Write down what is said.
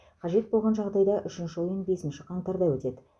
қажет болған жағдайда үшінші ойын бесінші қаңтарда өтеді